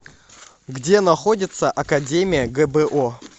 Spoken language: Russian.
где находится академия гбо